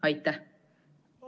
Aitäh!